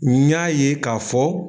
N y'a ye ka fɔ